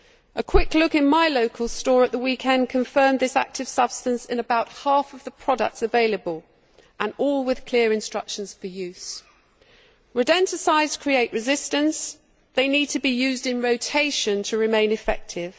A quick look in my local store at the weekend confirmed this active substance to be in about half of the products available, and all with clear instructions for use. Rodenticides create resistance they need to be used in rotation to remain effective.